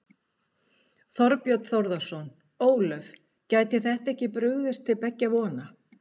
Þorbjörn Þórðarson: Ólöf, gæti þetta ekki brugðið til beggja vona?